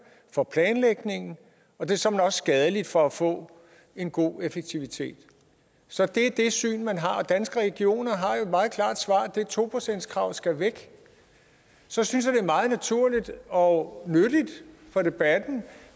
for planlægningen og det er såmænd også skadeligt for at få en god effektivitet så det er det syn man har og danske regioner har jo et meget klart svar nemlig at det to procentskrav skal væk så synes jeg det er meget naturligt og nyttigt for debatten